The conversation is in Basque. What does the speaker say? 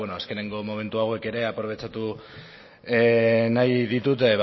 azkeneko momentu hauek ere aprobetxatu nahi ditut